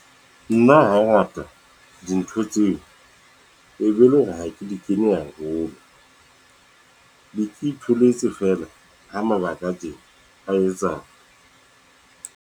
Nna ho ha ngata dintho tseo, e be ele hore ha ke di kene haholo be ke itholetse feela, ho mabaka a teng a etsa.